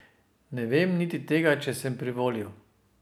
Ne vem niti tega, če sem privolil.